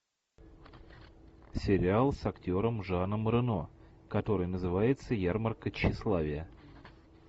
сериал с актером жаном рено который называется ярмарка тщеславия